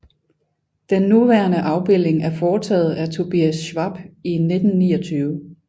Den nuværende afbildning er foretaget af Tobias Schwab i 1929